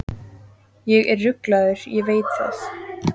Ég er ruglaður, ég veit það!